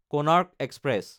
Konark express